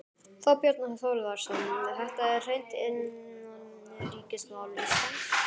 Þorbjörn Þórðarson: Þetta er hreint innanríkismál Íslands?